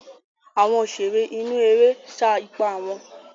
Àwọn òṣèré inú eré sá ipá wọn.